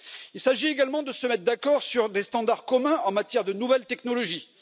Il s'agit également de se mettre d'accord sur des normes communes en matière de nouvelles technologies.